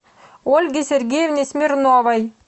ольге сергеевне смирновой